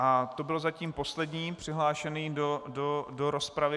A to byl zatím poslední přihlášený do rozpravy.